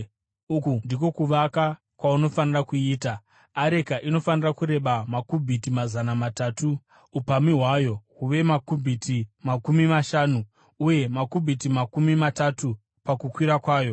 Uku ndiko kuvaka kwaunofanira kuiita: Areka inofanira kureba makubhiti mazana matatu , upamhi hwayo huve makubhiti makumi mashanu uye makubhiti makumi matatu pakukwirira kwayo.